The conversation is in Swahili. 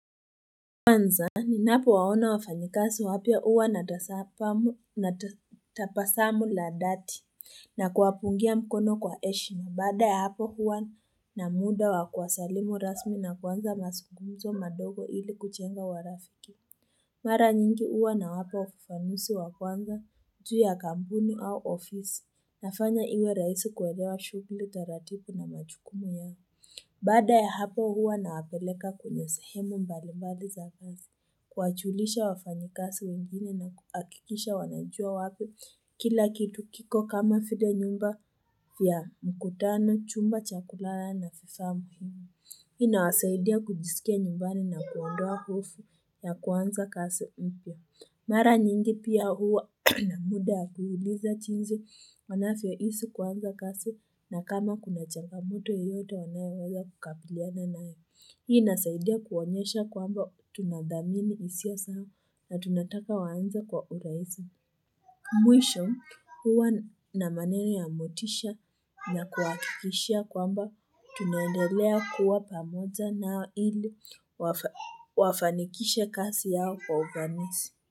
Kwanza, ninapo waona wafanyikasi wapya huwa natapasamu ladhati na kuwapungia mkono kwa heshima na baada ya hapo huwa na muda wakuwasalimu rasmi na kuanza masungumzo madogo ili kuchenga warafiki. Mara nyingi uwa na wapa ufafanusi wakwanza, juu ya kampuni au ofisi, nafanya iwe raisi kuwelewa shughuli taratipu na machukumu ya. Baada ya hapo huwa nawapeleka kwenye sehemu mbalimbali za kasi, kuwa chulisha wafanyikasi wengine na kuhakikisha wanajua wapi kila kitu kiko kama file nyumba fya mkutano, chumba, chakulala na fifaa muhimu. Hii ina wasaidia kujisikia nyumbani na kuondoa hofu ya kuanza kasi upya. Mara nyingi pia huwa na muda wa kuuliza chinsi wanafyo isi kuanza kasi na kama kuna changa moto yoyote wanaya weza kukapiliana nayo. Hii inasaidia kuonyesha kwamba tunadhamini hisia zao na tunataka waanze kwa urahisi. Mwisho huwa na maneno ya motisha na kuwahakikishia kwamba tunaendelea kuwa pamoja na ili wafanikishe kasi yao kwa ufanisi.